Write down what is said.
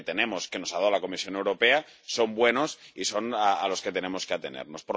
Y los que tenemos, que nos ha dado la Comisión Europea, son buenos y son a los que tenemos que atenernos.